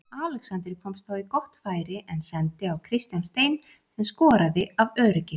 Alexander komst þá í gott færi en sendi á Kristján Stein sem skoraði af öryggi.